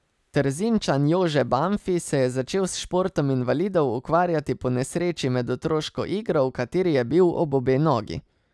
Trzinčan Jože Banfi se je začel s športom invalidov ukvarjati po nesreči med otroško igro, v kateri je bil ob obe nogi.